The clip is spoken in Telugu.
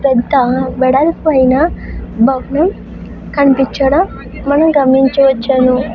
పెద్ద వెడల్పైన భవనం కనిపించడం మనం గమనించవచ్చును.